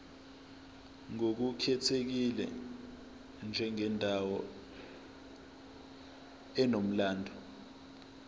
ngokukhethekile njengendawo enomlando